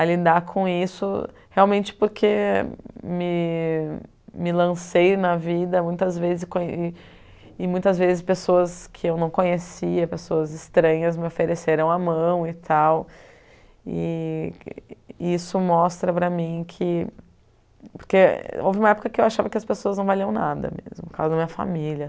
a lidar com isso realmente porque me me lancei na vida muitas vezes com e muitas vezes pessoas que eu não conhecia, pessoas estranhas me ofereceram a mão e tal e e isso mostra para mim que... porque houve uma época que eu achava que as pessoas não valiam nada mesmo por causa da minha família